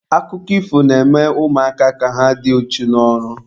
Akụkọ ifo na-eme ụmụaka ka ha dị ichu n'ọrụ.